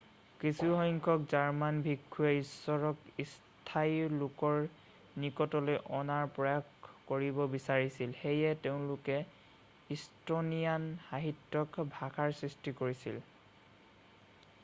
কিছুসংখ্যক জাৰ্মান ভিক্ষুৱে ইশ্বৰক স্থানীয় লোকৰ নিকটলৈ অনাৰ প্ৰয়াস কৰিব বিচাৰিছিল সেয়ে তেওঁলোকে ইষ্টনিয়ান সাহিত্যিক ভাষাৰ সৃষ্টি কৰিছিল